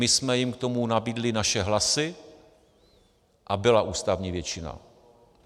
My jsme jim k tomu nabídli naše hlasy a byla ústavní většina.